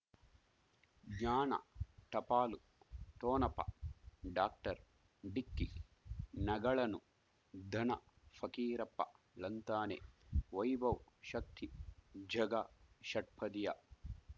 ಜ್ಞಾನ ಟಪಾಲು ಠೊಣಪ ಡಾಕ್ಟರ್ ಢಿಕ್ಕಿ ಣಗಳನು ಧನ ಫಕೀರಪ್ಪ ಳಂತಾನೆ ವೈಭವ್ ಶಕ್ತಿ ಝಗಾ ಷಟ್ಪದಿಯ